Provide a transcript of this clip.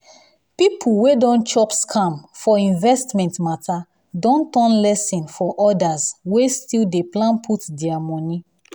people wey don chop scam for investment matter don turn lesson for others wey still dey plan put their money.